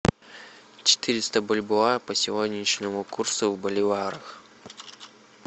четыреста бальбоа по сегодняшнему курсу в боливарах